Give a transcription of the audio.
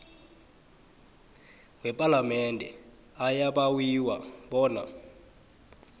wepalamende ayabawiwa bona